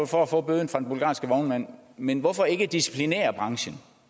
for at få bøden fra den bulgarske vognmand men hvorfor ikke disciplinere branchen